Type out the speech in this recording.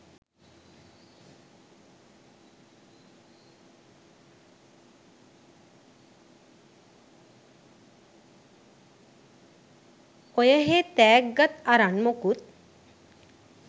ඔයහේ තෑග්ගත් අරන් මොකුත්